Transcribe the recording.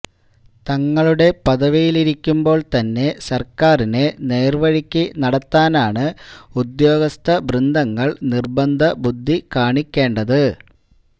തങ്ങളുടെ പദവിയിലിരിക്കുമ്പോൾ തന്നെ സർക്കാരിനെ നേർവഴിക്കു നടത്താനാണ് ഉദ്യോഗസ്ഥവൃന്ദങ്ങൾ നിർബന്ധബുദ്ധി കാണിക്കേണ്ടത്